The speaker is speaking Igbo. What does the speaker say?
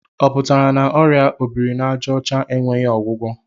Ọ pụtara na ọrịa obiri n'àjà ọcha enweghị ọgwụgwọ?